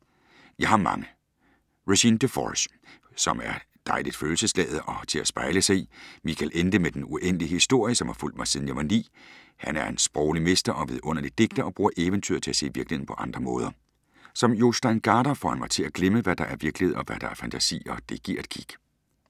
Jeg har mange! Regine Deforges, som er dejligt følelsesladet og til at spejle sig i. Michael Ende med Den Uendelige Historie, som har fulgt mig siden jeg var ni. Han er en sproglig mester og vidunderlig digter og bruger eventyret til at se virkeligheden på andre måder. Som Jostein Gaarder får han mig til at glemme, hvad der er virkelighed og hvad der er fantasi og det giver et kick.